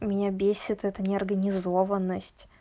меня бесит это неорганизованность